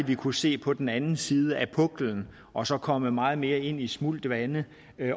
vi kunne se på den anden side af puklen og så komme meget mere ind i smult vande